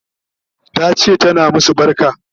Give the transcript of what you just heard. Tace tana masu barka